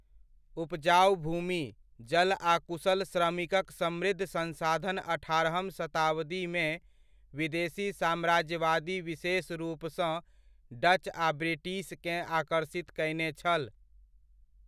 उपजाउ भूमि, जल आ कुशल श्रमिकक समृद्ध संसाधन अठारहम शताब्दीमे विदेशी साम्राज्यवादी विशेष रूपसँ डच आ ब्रिटिशकेँ आकर्षित कयने छल।